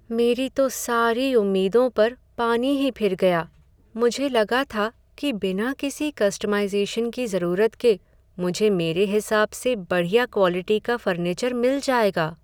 मेरी तो सारी उम्मीदों पर पानी ही फिर गया, मुझे लगा था कि बिना किसी कस्टमाइज़ेशन की ज़रूरत के मुझे मेरे हिसाब से बढ़िया क्वालिटी का फर्नीचर मिल जाएगा।